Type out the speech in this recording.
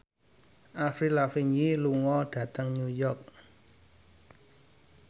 Avril Lavigne lunga dhateng York